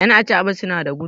yan acaɓa suna da gudu